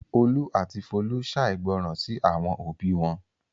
Olú àti Folú ṣàìgbọràn sí àwọn òbí wọn.